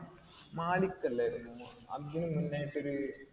മാലിക് അല്ലായിരുന്നു. അതിനു മുന്നായിട്ടൊരു